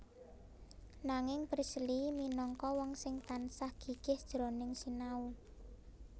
Nanging Priestley minangka wong sing tansah gigih jroning sinau